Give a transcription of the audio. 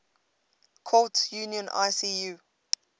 courts union icu